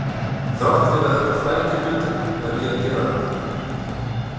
Þrátt fyrir að þetta flæki hlutina verð ég að gera þetta.